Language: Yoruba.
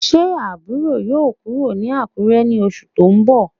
Se aburo yoo kuro ni Akure ni osu to nbo?